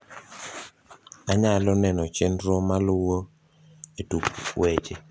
anyalo neno chenro maluo e tuk weche